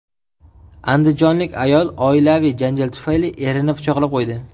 Andijonlik ayol oilaviy janjal tufayli erini pichoqlab qo‘ydi.